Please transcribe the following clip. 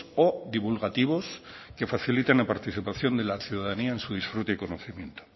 o divulgativos que faciliten la participación de la ciudadanía en su disfrute y conocimiento